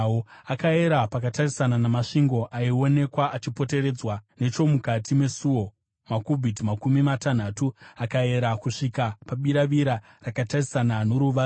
Akayera pakatarisana namasvingo aionekwa achipoteredza nechomukati mesuo, makubhiti makumi matanhatu. Akayera kusvika pabiravira rakatarisana noruvazhe.